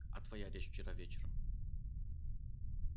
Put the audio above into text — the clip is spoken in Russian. а твоя речь вчера вечером